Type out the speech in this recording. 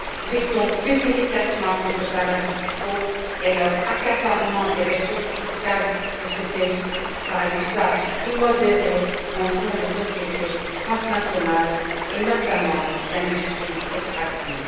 Luttons plus efficacement contre les paradis fiscaux et leur accaparement des ressources fiscales de ces pays par l'usage immodéré qu'en font les sociétés transnationales, et notamment l'industrie extractive.